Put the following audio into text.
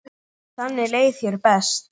Þannig leið þér best.